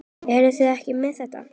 Eruð þið ekki með þetta?